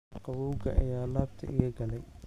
Qabowga ayaa laabta iga galay